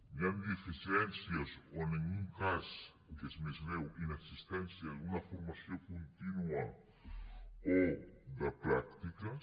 hi han deficiències o en algun cas el que és més greu inexistència d’una formació contínua o de pràctiques